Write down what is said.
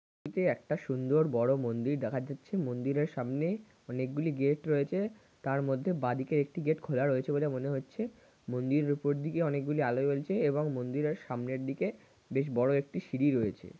এটি একটা সুন্দর বড় মন্দির দেখা যাচ্ছে মন্দিরের সামনে অনেকগুলি গেট রয়েছে তার মধ্যে বাঁদিকে একটি গেট খোলা রয়েছে বলে মনে হচ্ছে মন্দিরের উপর দিকে অনেকগুলি আলো জ্বলছে এবং মন্দিরের সামনের দিকে বেশ বড় একটি সিঁড়ি রয়েছে।